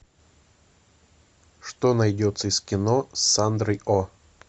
что найдется из кино с сандрой о